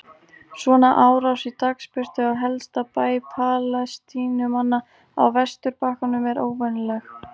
Svona árás í dagsbirtu á helsta bæ Palestínumanna á vesturbakkanum er óvenjuleg.